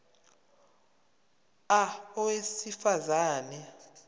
a owesifaz ane